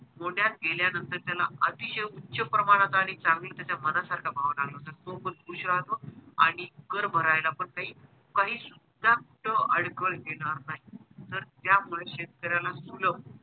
मोढ्यात गेल्यानंतर त्याला अतिशय उच्च प्रमाणात आणि चांगला त्याचा मनासारखा भाव लागला तर तो पण खुश राहतो आणि कर भरायला पण काही काही सुद्धा अडचण येणार नाही तर त्यामुळे शेतकऱ्याला